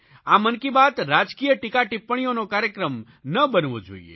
આ મન કી બાત રાજકીય ટીકાટિપ્પણીઓનો કાર્યક્રમ ન બનવો જોઇએ